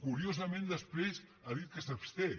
curiosament després ha dit que s’absté